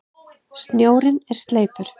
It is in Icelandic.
Snjórinn er sleipur!